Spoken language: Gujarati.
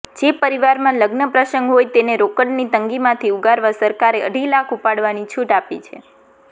જે પરિવારમાં લગ્નપ્રસંગ હોય તેને રોકડની તંગીમાંથી ઉગારવા સરકારે અઢી લાખ ઉપાડવાની છૂટ આપી છે